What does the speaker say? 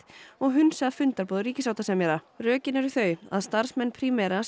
og hunsað fundarboð ríkissáttasemjara rökin eru þau að starfsmenn Primera